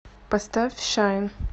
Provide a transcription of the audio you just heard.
поставь шайн